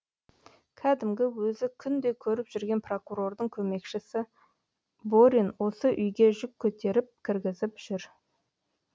кәдімгі өзі күнде көріп жүрген прокурордың көмекшісі борин осы үйге жүк көтеріп кіргізіп жүр